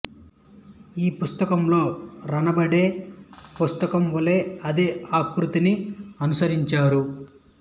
ఈ పుస్తకంలో రనడే పుస్తకం వలె అదే ఆకృతిని అనుసరించారు